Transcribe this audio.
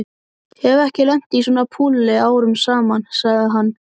Hef ekki lent í svona púli árum saman sagði hann.